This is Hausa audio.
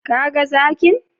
Ka ga zakin?